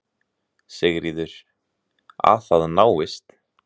Sigríður: Að það náist.